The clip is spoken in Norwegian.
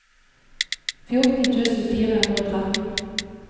fjorten tusen fire hundre og tretten